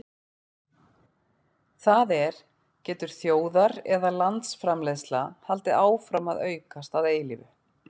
það er getur þjóðar eða landsframleiðsla haldið áfram að aukast að eilífu